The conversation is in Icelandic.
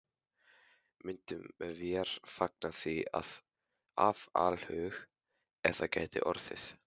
Myndum vér fagna því af alhug, ef það gæti orðið.